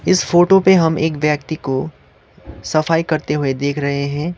इस फोटो पे हम एक व्यक्ति को सफाई करते हुए देख रहे हैं।